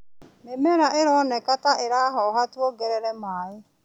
Mimera ironeka ta ĩrahoha, tuongerere maĩ.